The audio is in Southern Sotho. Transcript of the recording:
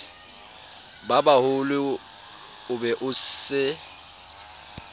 babaholo o be o se